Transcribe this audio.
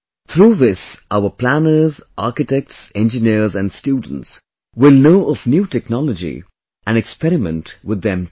Through this our planners, Architects, Engineers and students will know of new technology and experiment with them too